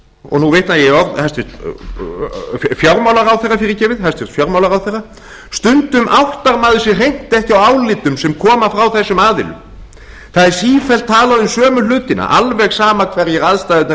og nú vitna ég í orð hæstvirts fjármálaráðherra stundum áttar maður sig hreint ekki á álitum sem koma frá þessum aðilum það er sífellt talað um sömu hlutina alveg sama hverjar aðstæðurnar